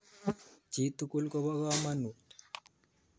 Chi tukul kopo kamanut